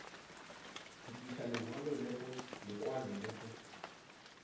go tlisa lekwalo le go